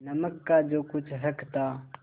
नमक का जो कुछ हक था